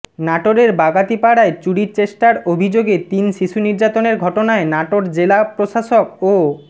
নাটোরের বাগাতিপাড়ায় চুরির চেষ্টার অভিযোগে তিন শিশু নির্যাতনের ঘটনায় নাটোর জেলা প্রশাসক ও